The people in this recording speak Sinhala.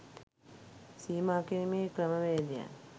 සීමා කිරීමේ ක්‍රමවේදයන්